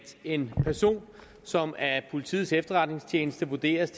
en person som af politiets efterretningstjeneste vurderes